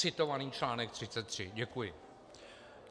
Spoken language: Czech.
Citovaný článek 33. Děkuji.